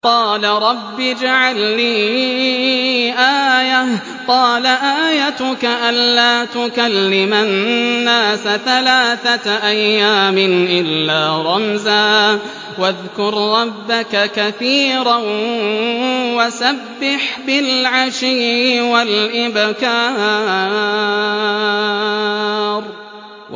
قَالَ رَبِّ اجْعَل لِّي آيَةً ۖ قَالَ آيَتُكَ أَلَّا تُكَلِّمَ النَّاسَ ثَلَاثَةَ أَيَّامٍ إِلَّا رَمْزًا ۗ وَاذْكُر رَّبَّكَ كَثِيرًا وَسَبِّحْ بِالْعَشِيِّ وَالْإِبْكَارِ